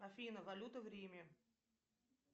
афина валюта в риме